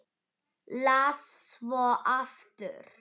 Las svo aftur.